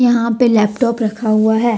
यहां पे लैपटॉप रखा हुआ है।